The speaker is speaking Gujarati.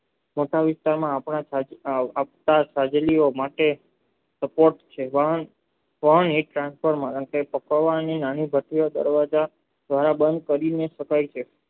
ટાકા વિસ્તારના આપતા સાગરીય માટે કરી શકાય છે